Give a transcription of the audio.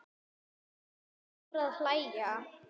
Örn fór að hlæja.